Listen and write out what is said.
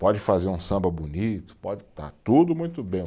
Pode fazer um samba bonito, pode estar tudo muito bem.